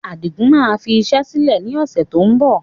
Adigun máa fi iṣẹ́ sílẹ̀ ni ọ̀sẹ̀ tó ń bọ̀